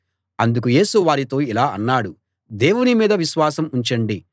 అందుకు యేసు వారితో ఇలా అన్నాడు దేవుని మీద విశ్వాసం ఉంచండి